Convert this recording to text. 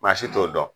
Maa si t'o dɔn